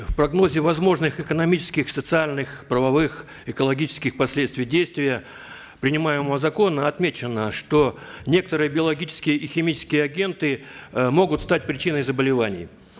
в прогнозе возможных экономических социальных правовых экологических последствий действия принимаемого закона отмечено что некоторые биологические и химические агенты э могут стать причиной заболеваний